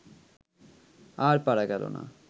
আর পারা গেল না